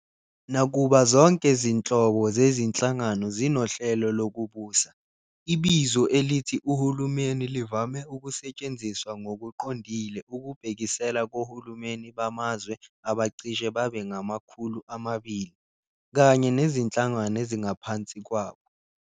Nakuba zonke zinhlobo zezinhlangano zinohlelo lokubusa, ibizo elithi uhulumeni livame ukusetshenziswa ngokuqondile ukubhekisela kohulumeni bamazwe abacishe babe ngama-200 kanye nezinhlangano ezingaphansi kwabo.